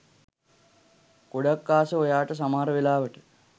ගොඩක් ආස ඔයාට සමහර වෙලාවට